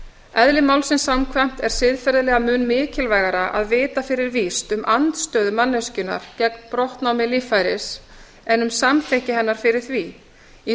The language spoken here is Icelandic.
eðli málsins samkvæmt er siðferðilega mun mikilvægara að vita fyrir víst um andstöðu manneskjunnar gegn brottnámi líffæris en um samþykki hennar fyrir því í